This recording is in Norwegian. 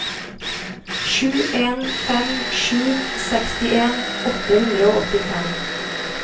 sju en fem sju sekstien åtte hundre og åttifem